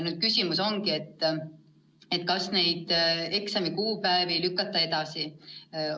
Nüüd on küsimus, kas lükata neid eksamite kuupäevi edasi?